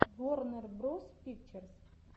ворнер броз пикчерз